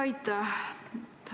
Aitäh!